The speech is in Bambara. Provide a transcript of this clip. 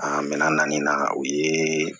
mɛ na nin na o ye